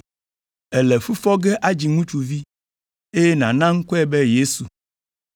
Èle fu fɔ ge adzi ŋutsuvi, eye nàna ŋkɔe be ‘Yesu.’